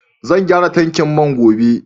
Zan gyara tankin man gobe.